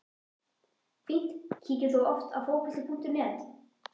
fínt Kíkir þú oft á Fótbolti.net?